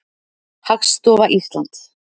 Hagstofa Íslands.